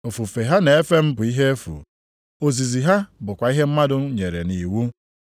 Ofufe ha na-efe m bụ ihe efu, ozizi ha bụkwa ihe mmadụ nyere nʼiwu.’ + 7:7 \+xt Aịz 29:13\+xt*